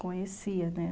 Conhecia, né?